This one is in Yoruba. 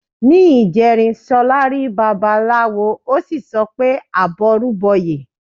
Ní ìjẹrin, Ṣọlá rí Babaláwo, ó sì sọ pé "àbọrú bọyè".